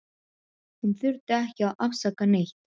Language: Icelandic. Hún þurfti ekki að afsaka neitt.